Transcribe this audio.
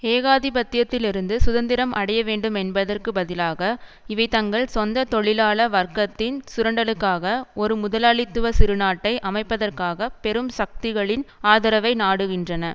ஏகாதிபத்தியத்தில் இருந்து சுதந்திரம் அடைய வேண்டும் என்பதற்கு பதிலாக இவை தங்கள் சொந்த தொழிலாள வர்க்கத்தின் சுரண்டலுக்காக ஒரு முதலாளித்துவ சிறுநாட்டை அமைப்பதற்காக பெரும் சக்திகளின் ஆதரவை நாடுகின்றன